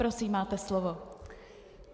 Prosím, máte slovo.